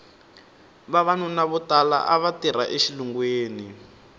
vavanuna vo tala ava tirha exilungwini